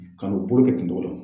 Ka n'u bolo kɛ ten cogo la.